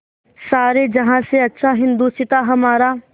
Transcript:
सारे जहाँ से अच्छा हिन्दोसिताँ हमारा